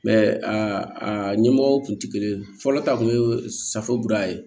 aa ɲɛmɔgɔw kun ti kelen ye fɔlɔ ta kun ye safora ye